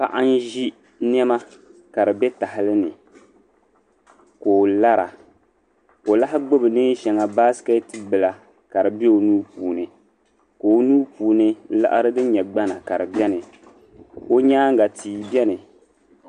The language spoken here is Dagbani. Paɣi n zi nema ka dibe tahili ni, ka o lara o lahi gbubi neen' shaŋa, basket bila kadi be onuu puuni ka o nuu puuni liɣiri din nyɛ gbana ka. dibeni ka onyaaŋga tii beni.